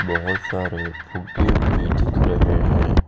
बहुत सारे फुग्गे भी दिख रहे हैं।